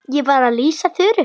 Ég var að lýsa Þuru.